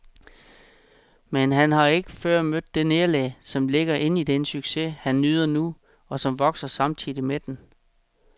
Men han har ikke før mødt det nederlag, som ligger inde i den succes, han nyder nu, og som vokser samtidig med den.